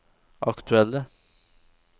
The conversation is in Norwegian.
aktuelle